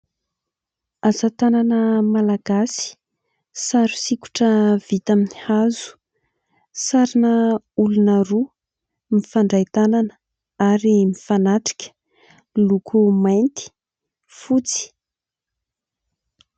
Asatanana malagasy sary sikotra vita amin'ny hazo, sarina olona roa mifandray tanana ary mifanatrika loko mainty, fotsy.